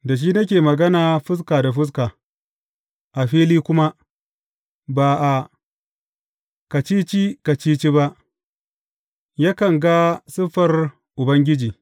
Da shi nake magana fuska da fuska, a fili kuma, ba a kacici kacici ba; yakan ga siffar Ubangiji.